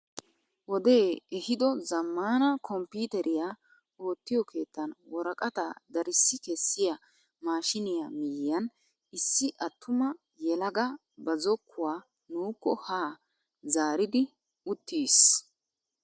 Wodee ehido zammaana kompiiteriyaa oottiyoo keettan woraqataa darissi kessiyaa maashiniyaa miyiyaan issi attuma yelaga ba zokkuwaa nuukko haa zaaridi uttiis!